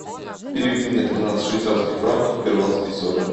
переведи мне тринадцать швейцарских франков в перуанские соли